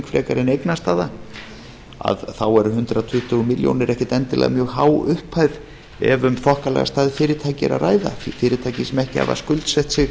frekar en eignastaða eru hundrað tuttugu milljónir ekkert endilega mjög há upphæð ef um þokkalega stærð fyrirtækja er að ræða fyrirtæki sem ekki hafa skuldsett sig